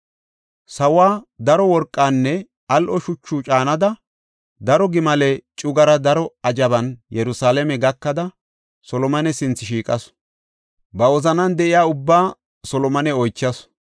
Sawuwa, daro worqanne al7o shuchu caanida daro gimale cugara daro ajaban Yerusalaame gakada Solomone sinthe shiiqasu. Ba wozanan de7iya ubbaa Solomone oychasu.